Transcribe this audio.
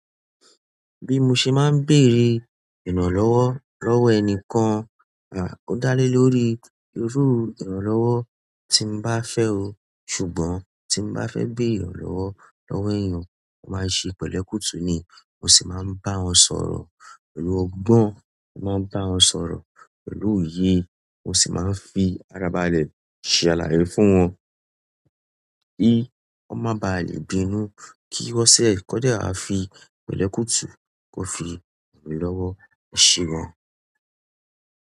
Bí mo ṣe máa ń béèrè ìrànlọ́wọ́ lọ́wọ́ ẹni kan, o dálé lórí irú ìrànlọ́wọ́ tí mo bá fẹ́ o. Ṣùgbọ́n tí mo bá fẹ́ béèrè ìrànlọ́wọ́ lọ́wọ́ èèyàn, mo máa ń ṣe pẹ̀lẹ́kútu ni. Mo sì máa ń bá wọn sọ̀rọ̀ pẹ̀lú ọgbọ́n, mo máa ń bá wọn sọ̀rọ̀ pẹ̀lú òye. Mo sì máa ń fi ara balẹ̀ ṣe àlàyé fún wọn kí wọ́n má ba à lè bínú kí wọn sì kódè a fi pẹ̀lẹ́kútu kó fi ìrànlọ́wọ́. Eṣe gan.